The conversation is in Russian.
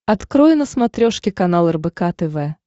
открой на смотрешке канал рбк тв